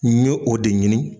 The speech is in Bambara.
N ɲe o de ɲini.